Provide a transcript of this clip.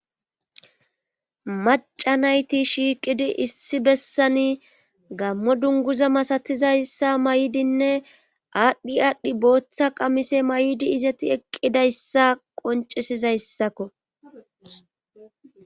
macca nayti shiiqidi issi bessani gaammo dunggza maastizayssa mayidinna adhi aadhi bootha qamise m,ayidi eqqidayssa qonccizayssako